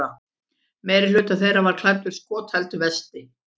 Meirihluti þeirra var klæddur skotheldu vesti